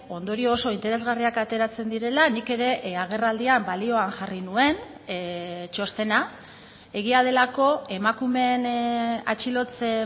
ondorio oso interesgarriak ateratzen direla nik ere agerraldian balioan jarri nuen txostena egia delako emakumeen atxilotze